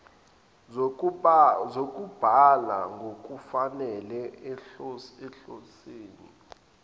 zokubhala ngokufanele ohlotsheni